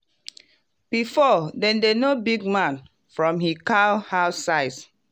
before dem dey know big man from him cow house size.